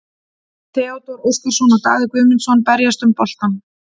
Theodór Óskarsson og Daði Guðmundsson berjast um boltann.